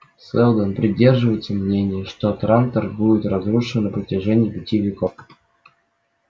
сэлдон придерживается мнения что трантор будет разрушен на протяжении пяти веков